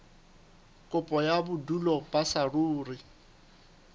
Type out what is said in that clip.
kopo ya bodulo ba saruri